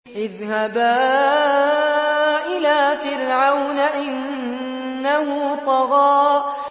اذْهَبَا إِلَىٰ فِرْعَوْنَ إِنَّهُ طَغَىٰ